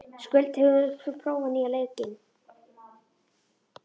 Skuld, hefur þú prófað nýja leikinn?